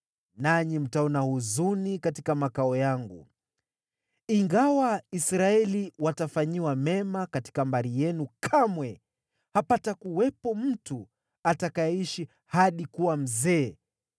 nanyi mtaona huzuni katika makao yangu. Ingawa Israeli watafanyiwa mema, katika mbari yenu kamwe hapatakuwepo mtu atakayeishi hadi kuwa mzee.